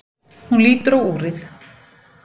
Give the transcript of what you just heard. Hún lítur á úrið.